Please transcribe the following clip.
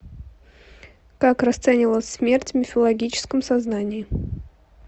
как расценивалась смерть в мифологическом сознании